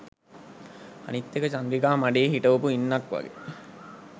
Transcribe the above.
අනිත් එක චන්ද්‍රිකා මඩේ හිටවපු ඉන්නක් වගේ